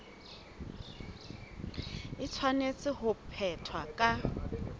e tshwanetse ho phethwa ka